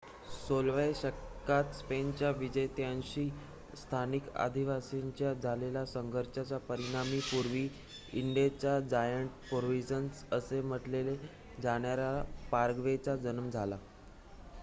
"१६व्या शतकात स्पेनच्या विजेत्यांशी स्थानिक आदिवासींच्या झालेल्या संघर्षाच्या परिणामी पूर्वी "इंडिजचे जायंट प्रोव्हिअन्स" असे म्हटले जाणाऱ्या पाराग्वेचा जन्म झाला.